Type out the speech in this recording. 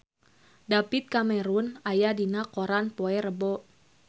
David Cameron aya dina koran poe Rebo